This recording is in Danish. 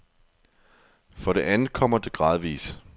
For det andet kommer det gradvis.